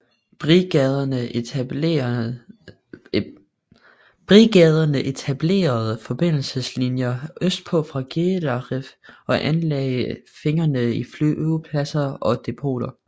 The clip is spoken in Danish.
Brigaderne etablerede forbindelseslinjer østpå fra Gedaref og anlagde fingerede flyvepladser og depoter